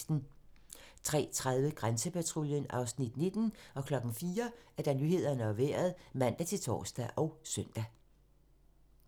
03:30: Grænsepatruljen (Afs. 19) 04:00: Nyhederne og Vejret (man-tor og søn)